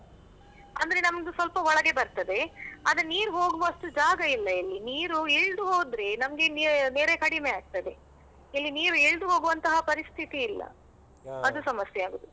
ಅಂದ್ರೆ ನಮ್ದು ಸ್ವಲ್ಪ ಒಳಗೆ ಬರ್ತದೆ ಆದ್ರೆ ನೀರು ಹೋಗುವಷ್ಟು ಜಾಗ ಇಲ್ಲ ಇಲ್ಲಿ ನೀರು ಇಳ್ದು ಹೋದ್ರೆ ನಮ್ಗೆ ನೆರೆ ಕಡಿಮೆ ಆಗ್ತದೆ ಇಲ್ಲಿ ನೀರು ಇಳ್ದು ಹೋಗುವಂತ ಪರಿಸ್ಥಿತಿ ಇಲ್ಲ. ಅದು ಸಮಸ್ಯೆ ಆಗುದು.